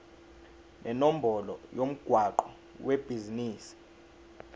nenombolo yomgwaqo webhizinisi